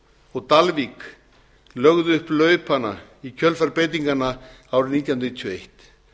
og á dalvík lögðu upp laupana í kjölfar breytinganna árið nítján hundruð níutíu og eitt